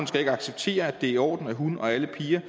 skal acceptere at det er i orden at hun og alle piger